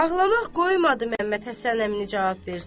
Ağlanıb qoymadı Məhəmməd Həsən əmini cavab versin.